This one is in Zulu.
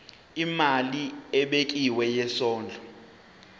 imali ebekiwe yesondlo